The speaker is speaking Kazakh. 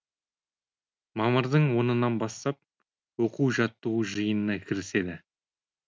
мамырдың онынан бастап оқу жаттығу жиынына кіріседі